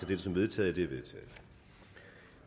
dette som vedtaget